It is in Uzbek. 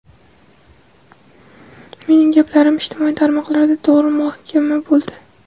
Mening gaplarim ijtimoiy tarmoqlarda to‘g‘ri muhokama bo‘ldi.